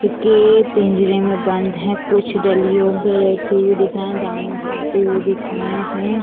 फिक्के पिंजरे में बंद हैं कुछ डलियों पे बैठे हुए दिख रहे हैं दाना खाते हुए दिख रहे हैं।